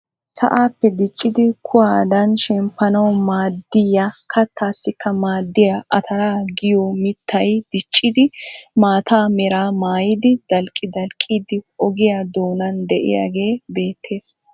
Sa'aappe diiccidi kuwadaan shemmpanawu maaddiyaa kattaasikka maaddiyaa ataraa giyoo mittay diccidi maata meraa maayidi dalqqi dalqqiidi ogiyaa doonan de'iyaagee beettees.